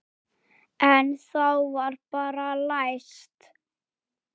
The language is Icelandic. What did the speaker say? En þá var bara læst.